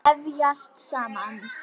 Og gjöf þína.